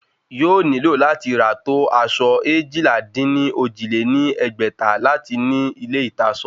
Yóò nílò láti rà tó aṣọ eéjìlá-dín-ní-ojì lé ní ẹgbẹ́ta láti ní ilé ìtasọ